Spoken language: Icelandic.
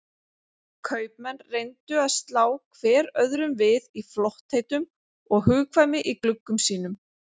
Kaupmenn reyndu að slá hver öðrum við í flottheitum og hugkvæmni í gluggum sínum.